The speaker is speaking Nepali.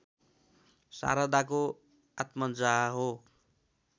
शारदाको आत्मजा हो